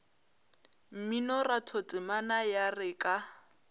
mminoratho temana ya re ka